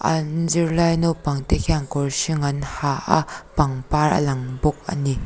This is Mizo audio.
an zirlai naupang te hian kawr hring an ha a pangpar a lang bawk ani.